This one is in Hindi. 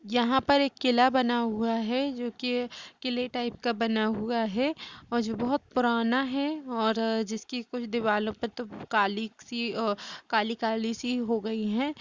यहाँ पर एक किला बना हुआ है जो की किले टाइप का बना हुआ है और जो बहुत पुराना है और जिसकी कुछ दीवालों पर तो काली सी अ काली-काली सी हो गई हैं।